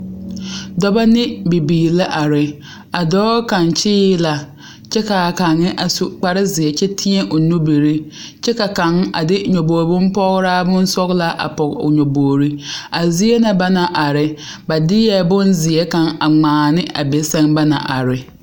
Dɔba ne bibiiri la are a dɔɔ kaŋ tiili la kyɛ ka a kaŋ a su kparezeɛ kyɛ teɛ o nubiri kyɛ ka kaŋ a de nyɔbogre bonpɔgraa bonsɔglaa a pɔge o nyɔbogre a zie ŋa ba naŋ are ba de la bonzeɛ kaŋ a ŋmaa ne a be sɛŋ ba naŋ are.